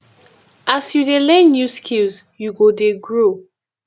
as you dey learn new skills you go dey grow